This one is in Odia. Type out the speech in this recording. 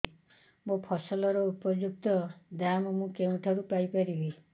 ମୋ ଫସଲର ଉପଯୁକ୍ତ ଦାମ୍ ମୁଁ କେଉଁଠାରୁ ପାଇ ପାରିବି